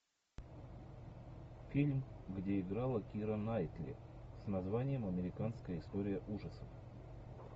фильм где играла кира найтли с названием американская история ужасов